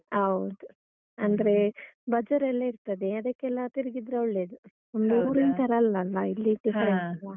ಹೌದು. ಅಂದ್ರೆ ಬಜಾರೆಲ್ಲ ಇರ್ತದೆ ಅದಕ್ಕೆಲ್ಲ ತಿರುಗಿದ್ರೆ ಒಳ್ಳೇದು. ನಮ್ದು ಊರಿನ್ ತರ ಅಲ್ಲಲ್ಲ? ಇಲ್ಲಿ. different ಅಲಾ?